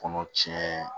Kɔnɔ tiɲɛ